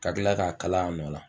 Ka kila k'a kala a nɔ la